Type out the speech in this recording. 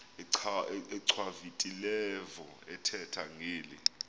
achwavitilevo ethetha ngeli